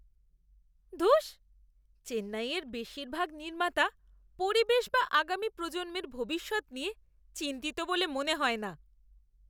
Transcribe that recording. ধুস, চেন্নাইয়ের বেশিরভাগ নির্মাতা পরিবেশ বা আগামী প্রজন্মের ভবিষ্যৎ নিয়ে চিন্তিত বলে তো মনে হয় না।